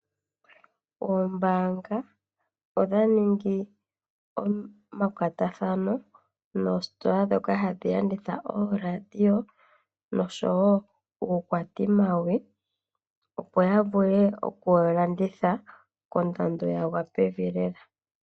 Oombaanga odha ningi omakwatathano noositola ndhoka hadhi landitha ooradio noshowo uukwatimawi, opo ya vule oku wu landitha kondando ya gwa pevi lela.